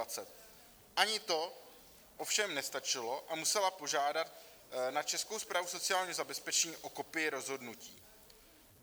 Ani to ovšem nestačilo a musela požádat na Českou správu sociálního zabezpečení o kopii rozhodnutí.